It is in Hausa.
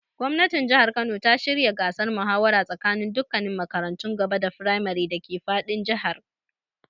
Gwamnatin Jihar Kano ta shirya gasar muhawara tsakaninin dukkannin makarantun gaba da firamare dake fadin Jihar.